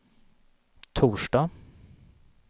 torsdag